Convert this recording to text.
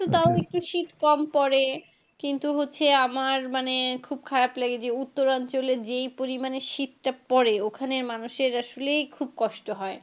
তাও একটু শীত কম পড়ে কিন্তু হচ্ছে আমার খুব মানে খারাপ লাগে যে উত্তরাঞ্চলে যেই পরিমানে শীতটা পড়ে ওখানে মানুষের আসলেই খুব কষ্ট হয়